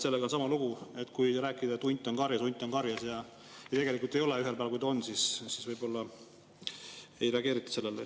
Sellega on sama lugu, kui rääkida, et hunt on karjas, hunt on karjas, kuigi tegelikult ei ole, aga ühel päeval, kui ta on, siis võib-olla ei reageerita sellele.